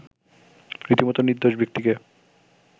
রীতিমত নির্দোষ ব্যক্তিকে